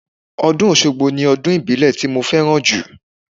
Ọdún Oṣogbo ni ọdún ìbílẹ̀ tí mo fẹ́ràn jù.